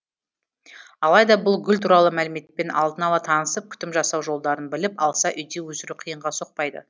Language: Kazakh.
алайда бұл гүл туралы мәліметпен алдын ала танысып күтім жасау жолдарын біліп алса үйде өсіру қиынға соқпайды